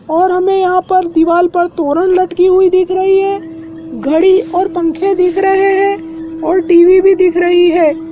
और हमें यहां पर दिवाल पर तोरन लटकी हुई दिख रही है घड़ी और पंखे दिख रहे हैं और टी_वी भी दिख रही है।